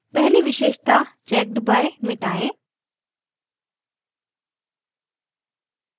पहली विशेषता checked by मिटायें